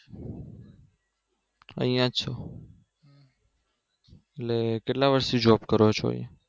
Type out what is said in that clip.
અહિયાં જ છો એટલે કેટલા વર્ષથી Job કરો છો